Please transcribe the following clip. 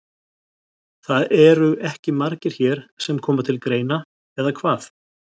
Það eru ekki margir hér sem koma til greina, eða hvað?